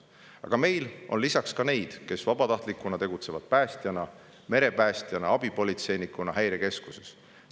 Aga meil on ka neid, kes tegutsevad vabatahtliku päästjana, merepäästjana või abipolitseinikuna häirekeskuses.